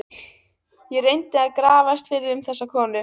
Ég reyndi að grafast fyrir um þessa konu.